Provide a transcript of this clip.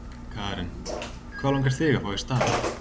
Karen: Hvað langar þig að fá í staðinn?